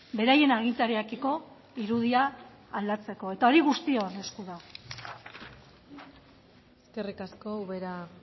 beraien agintariekiko irudia aldatzeko eta hori guztion esku dago eskerrik asko ubera